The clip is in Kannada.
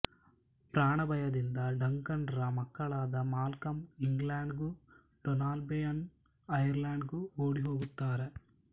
ಪ್ರಾಣಭಯದಿಂದ ಡಂಕನ್ ರ ಮಕ್ಕಳಾದ ಮಾಲ್ಕಮ್ ಇಂಗ್ಲೆಂಡ್ ಗೂ ಡೋನಾಲ್ಬೇಯ್ನ್ ಐರ್ಲೆಂಡ್ ಗೂ ಓಡಿಹೋಗುತ್ತಾರೆ